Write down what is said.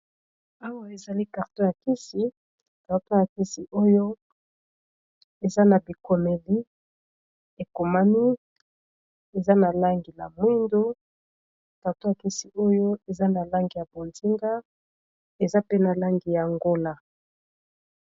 Awa ezali kartor ya kisi kartor ya kisi oyo eza na bikomeli ekomami eza na langi ya mwindo, karto ya kisi oyo eza na langi ya bonzinga eza pene langi ya ngola.